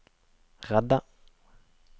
redde